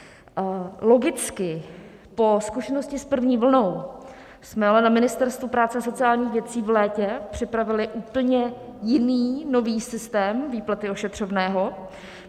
Logicky po zkušenosti s první vlnou jsme ale na Ministerstvu práce a sociálních věcí v létě připravili úplně jiný, nový systém výplaty ošetřovného.